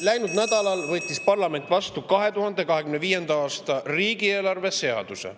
Läinud nädalal võttis parlament vastu 2025. aasta riigieelarve seaduse.